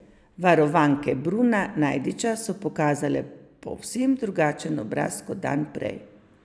Varovanke Bruna Najdiča so pokazale povsem drugačen obraz kot dan prej.